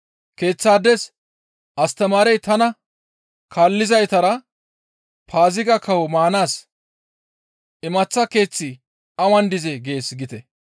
Keeththaades, ‹Astamaarey tana kaallizaytara Paaziga kawo maanaas imaththa keeththi awan dizee?› gees giite.